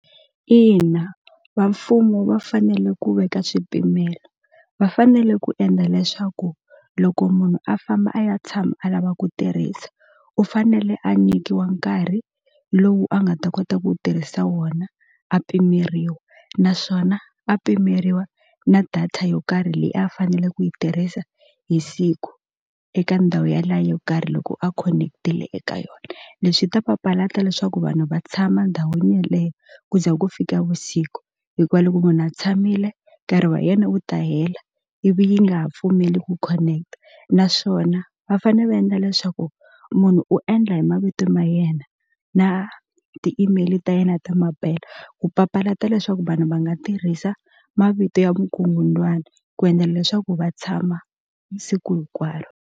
Ina va mfumo va fanele ku veka swipimelo va fanele ku endla leswaku loko munhu a famba a ya tshama a lava ku tirhisa u fanele a nyikiwa nkarhi lowu a nga ta kota ku tirhisa wona a pimeriwa naswona a pimeriwa na data yo karhi leyi a fanele ku yi tirhisa hi siku eka ndhawu ya liya yo karhi loko a connect-ile eka yona leswi swi ta papalata leswaku vanhu va tshama ndhawini yeleyo ku ze ku fika vusiku hikuva loko munhu a tshamile nkarhi wa yena wu ta hela ivi yi nga ha pfumeli ku connect-a naswona va fane va endla leswaku munhu u endla hi mavito ma yena na ti-email ta yena ta mampela ku papalata leswaku vanhu va nga tirhisa mavito ya vukungundzwani ku endla leswaku va tshama siku hinkwaro.